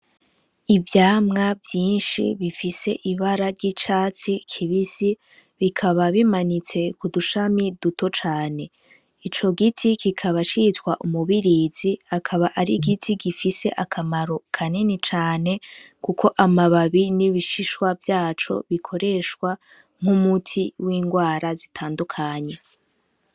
Ivyamwa vyinshi bifise Ibara ry'iryatsi kibisi bikaba bimanitswe ku dushami duto cane ,ico giti kikaba citwa umubirizi kikaba ari igiti gifise akamaro kanini cane kuko amababi n'ibishishwa vy'aco bikoreshwa nk'umuti w'inrwara zitandukanye.